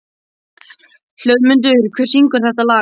Hlöðmundur, hver syngur þetta lag?